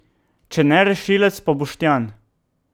Če ne rešilec, pa Boštjan.